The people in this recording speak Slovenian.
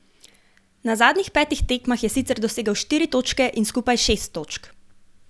Na zadnjih petih tekmah je sicer dosegel štiri točke in skupaj šest točk.